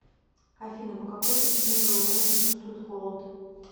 афина по какой причине глаза не чувствуют холод